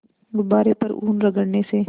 गुब्बारे पर ऊन रगड़ने से